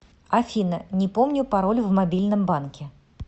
афина не помню пароль в мобильном банке